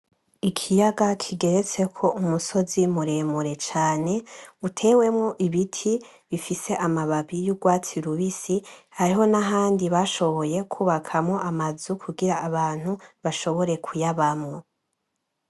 Ikiyaga kigeretseko umusozi muremure cane utewemwo ibiti bifise amababi y’urwatsi rubisi ,hariho n’ahandi bashoboye kwubakamwo amazu kugira ngo abantu bashobore kuyabamwo.